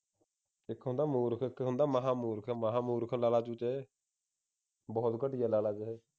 ਇਕ ਹੁੰਦਾ ਮੂਰਖ ਇਕ ਹੁੰਦਾ ਮਹਾ ਮੂਰਖ ਮਹਾ ਮੂਰਖ ਲਾ ਲਾ ਤੂੰ ਚੇ ਬਹੁਤ ਘਟੀਆ ਲਾ ਲਾ ਵੀਰੇ